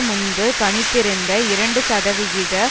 முன்பு கணித்திருந்த இரண்டுசதவிகித